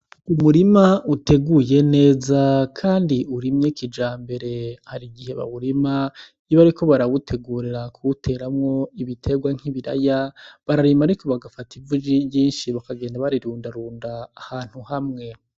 Umurima uteguye neza kandi urimye kijambere, hari igihe bawurima iyo bariko barawutegurira kuwuteramwo ibitegwa nk'ibiraya bararima ariko bagafata ivu ryinshi bakagenda barirundarunda ahantu hamwe.